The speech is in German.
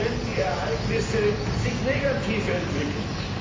wenn die Ereignisse sich negativ entwickeln.